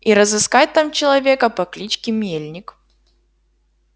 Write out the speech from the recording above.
и разыскать там человека по кличке мельник